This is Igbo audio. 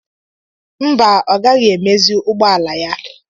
Mba, ọ gaghị emezi ụgbọala ya.